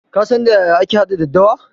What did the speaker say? Ka san da yaya ake haɗa daddawa?